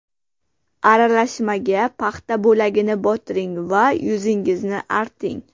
Aralashmaga paxta bo‘lagini botiring va yuzingizni arting.